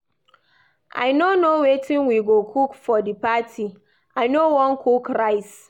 I no know wetin we go cook for the party. I no wan cook rice.